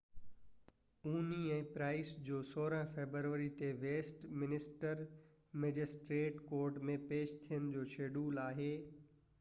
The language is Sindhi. هونهي ۽ پرائس جو 16 فيبروري تي ويسٽ منسٽر مئجسٽريٽس ڪورٽ ۾ پيش ٿيڻ جو شيڊيول آهي